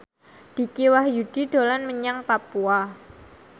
Dicky Wahyudi dolan menyang Papua